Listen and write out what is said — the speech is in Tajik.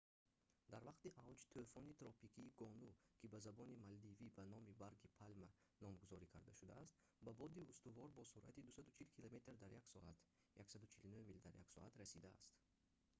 дар вақти авҷ тӯфони тропикии гону ки ба забони малдивӣ ба номи барги палма номгузорӣ карда шудааст ба боди устувор бо суръати 240 километр дар як соат 149 мил дар як соат расидааст